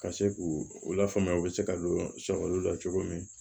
Ka se k'u u lafaamuya u bɛ se ka don olu la cogo min